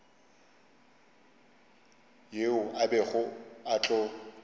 yeo a bego a tlo